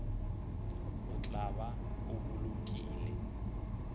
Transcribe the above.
o tla ba o bolokile